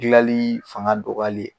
Gilali fanga dɔgɔyali ye.